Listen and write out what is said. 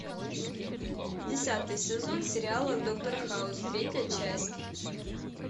десятый сезон сериала доктор хаус третья часть